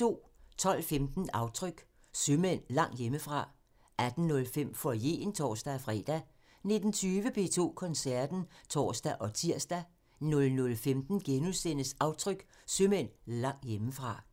12:15: Aftryk – Sømænd langt hjemmefra 18:05: Foyeren (tor-fre) 19:20: P2 Koncerten (tor og tir) 00:15: Aftryk – Sømænd langt hjemmefra *